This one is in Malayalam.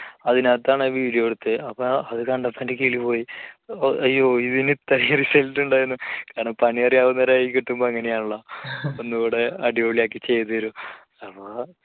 അതിനാത്താണ് ആ video എടുത്തത് അപ്പോ അത് കണ്ടപ്പോൾ എൻറെ കിളി പോയി അയ്യോ ഇതിന് ഇത്രയും result ഉണ്ടായിരുന്നോ? കാരണം പണി അറിയാവുന്നവരുടെ കയ്യിൽ കിട്ടുമ്പോൾ അങ്ങനെയാണല്ലോ ഒന്നൂടെ അടിപൊളിയാക്കി ചെയ്തു തരും അപ്പോ